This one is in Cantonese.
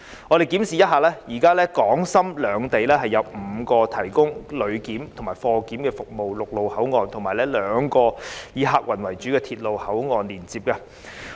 我們檢視一下，現在港深兩地有5個提供旅檢和貨檢服務的陸路口岸，以及兩個以客運為主的鐵路口岸連接。